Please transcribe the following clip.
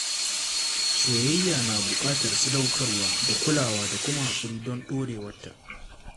Soyayya na buƙatar sadaukarwa da kulawa da kuma haƙuri don ɗorewarta.